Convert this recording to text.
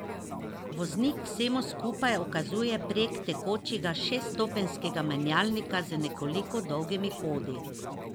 Voznik vsemu skupaj ukazuje prek tekočega šeststopenjskega menjalnika z nekoliko dolgimi hodi.